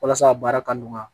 Walasa a baara ka nɔgɔya